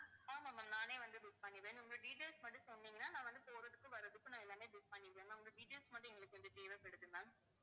ஆமா ma'am நானே வந்து book பண்ணிடுவேன் ma'am உங்க details மட்டும் சொன்னீங்கன்னா நான் வந்து போறதுக்கு வர்றதுக்கு, நான் எல்லாமே book பண்ணிடுவேன் உங்க details மட்டும் கொஞ்சம் எங்களுக்கு தேவைப்படுது ma'am